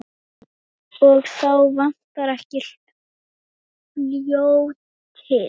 Og þá vantar ekki fljótið.